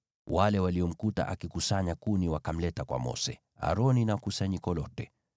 Wale waliomkuta akikusanya kuni wakamleta kwa Mose, Aroni na kusanyiko lote,